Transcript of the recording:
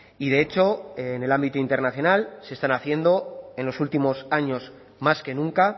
y de hecho en el ámbito internacional se están haciendo en los últimos años más que nunca